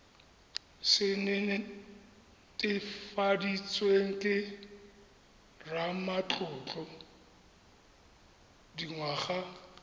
se netefaditsweng ke ramatlotlo dingwaga